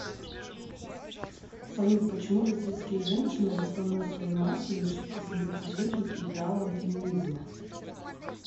салют почему российские женщины в основной своей массе не шибко симпатизируют идеалам феминизма